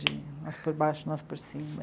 De nós por baixo, nós por cima.